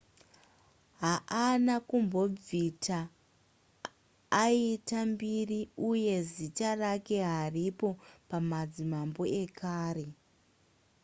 haana kumbobvita aita mbiri uye zita rake haripo pamadzimambo ekare